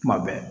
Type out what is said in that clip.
Kuma bɛɛ